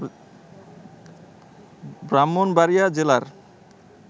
ব্রাহ্মণবাড়িয়া জেলার